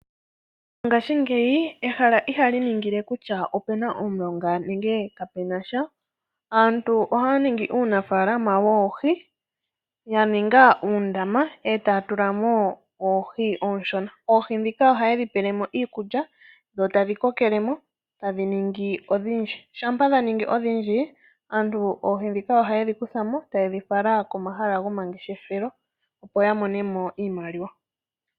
Mongashingeyi ehala ihali ningile kutya opena omulonga nenge kapenasha aantu ohaya ningi uunafalama woohi yaninga uundama etaya tulamo oohi ooshona. Oohi ndhika ohaye dhi pelemo iikulya etadhi kokelemo tadhi ningi odhindji. Shampa dha ningi odhindji aant aantu oha yedhi kuthamo nokudhi fala komahala gomangeshefelo, opo ya mone iimaliwa.